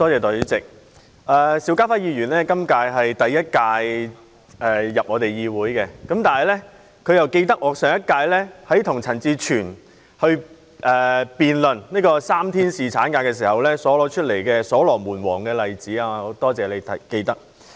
代理主席，邵家輝議員在今屆立法會才首次進入議會，但卻記得我在上屆的會議與陳志全議員辯論3天侍產假議題時提及所羅門王的例子。